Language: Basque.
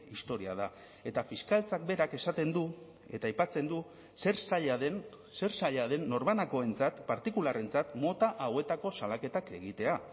historia da eta fiskaltzak berak esaten du eta aipatzen du zer zaila den zer zaila den norbanakoentzat partikularrentzat mota hauetako salaketak egitea